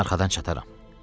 Mən arxadan çataram.